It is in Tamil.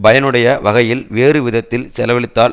பயனுடைய வகையில் வேறு விதத்தில் செலவழித்தால்